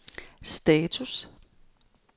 status